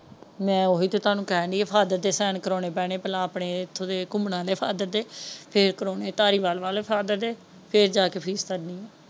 ਮੈਂ ਉਹ ਤੇ ਤੁਹਾਨੂੰ ਕਹਿਣ ਡਾਇ ਹਾਂ ਫ਼ਾਦਰ ਦੇ ਕਰਾਉਣੇ ਪੈਣੇ ਪਹਿਲਾ ਆਪਣੇ ਇੱਥੋਂ ਘੁੰਮਾਣ ਦੇ ਫ਼ਾਦਰ ਦੇ ਫੇਰ ਕਰਾਉਣੇ ਧਾਲੀਵਾਲ ਵਾਲੇ ਫ਼ਾਦਰ ਦੇ ਫੇਰ ਜਾ ਕੇ ਫੀਸ ਤਾਰਨੀ ਹੈ।